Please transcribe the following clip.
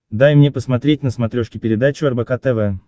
дай мне посмотреть на смотрешке передачу рбк тв